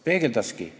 Peegeldaski.